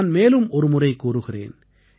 நான் மேலும் ஒருமுறை கூறுகிறேன்